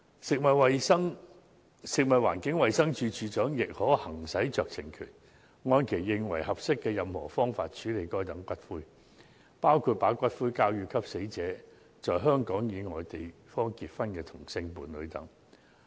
食物環境衞生署署長亦可行使酌情權，按其認為合適的任何方式，處置該等骨灰，包括把骨灰交給與死者在香港以外地方結婚的同性伴侶等。